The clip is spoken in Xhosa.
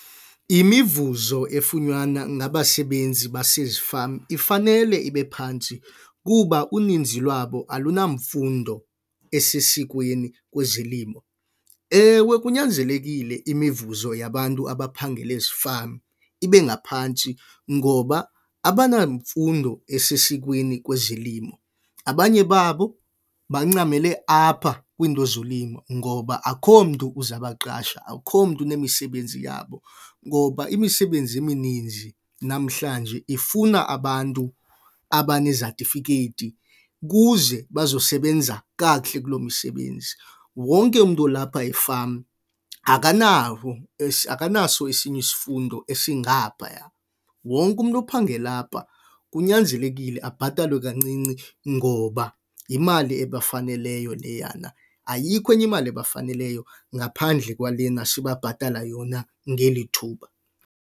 Imivuzo efunyanwa ngabasebenzi basezifama ifanele ibe phantsi kuba uninzi lwabo alunamfundo esesikweni kwezolimo. Ewe, kunyanzelekile imivuzo yabantu abaphangela ezifama ibe ngaphantsi ngoba abanamfundo esesikweni kwezolimo, abanye babo bancamele apha kwiinto zolimo ngoba akukho mntu uza baqashe akukho mntu unemisebenzi yabo. Ngoba imisebenzi emininzi namhlanje ifuna abantu abanezatifikhethi kuze bazosebenza kakuhle kulo msebenzi. Wonke umntu olapha efama akanawo akanaso esinye isifundo esingaphaya. Wonke umntu uphangela apha kunyanzelekile abhatalwe kancinci ngoba yimali ebafaneleyo leyana. Ayikho enye imali ebafaneleyo ngaphandle kwalena sibabhatala yona ngeli thuba.